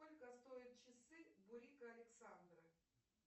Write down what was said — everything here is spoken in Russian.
сколько стоят часы бурико александры